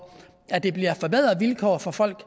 at der bliver forbedrede vilkår for folk